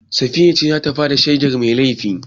Safiya ce za ta ba da shaidar mai laifi.